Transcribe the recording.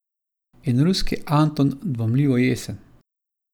In ruski Anton dvomljivo jesen.